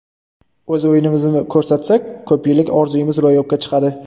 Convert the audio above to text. O‘z o‘yinimizni ko‘rsatsak, ko‘p yillik orzumiz ro‘yobga chiqadi.